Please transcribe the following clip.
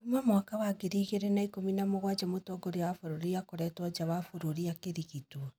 Kuuma mwaka wa 2017 mũtongoria wa bũrũri akoretwo nja wa bũrũri akĩrigitwo.